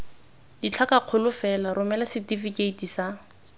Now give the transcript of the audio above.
ditlhakakgolo fela romela setefikeiti sa